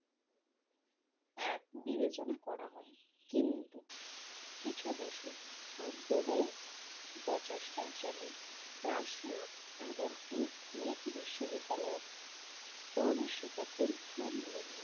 এক বিবেচনা করা হয় কিন্তু কিছু দেশে সাম্প্রদায়িক বচেষ্ট যেমন রাশিয়া এবং ইউক্রেন বিশ্ববিদ্যালয়ের প্রবেশিকা পরীক্ষার নিয়ম